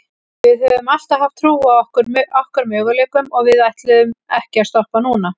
Við höfum alltaf haft trú á okkar möguleikum og við ætlum ekki að stoppa núna.